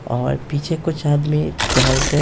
और पीछे कुछ आदमी टहलते --